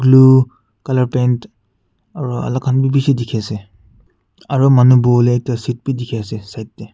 blue colour paint aru alag khan be bishi dikhi ase aru manu boha le ekta seat be dikhi ase side teh.